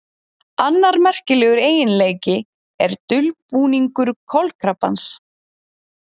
annar merkilegur eiginleiki er dulbúningur kolkrabbans